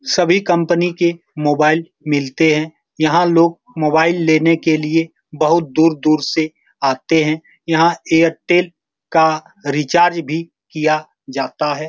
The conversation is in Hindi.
सभी कंपनी के मोबाइल मिलते हैं यहाँ लोग मोबाइल लेने के लिए बहुत दूर-दूर से आते हैं यहाँ एयरटेल का रिचार्ज भी किया जाता है।